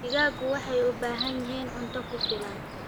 Digaagga waxay u baahan yihiin cunto ku filan.